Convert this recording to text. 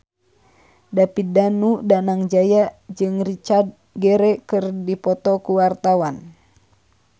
David Danu Danangjaya jeung Richard Gere keur dipoto ku wartawan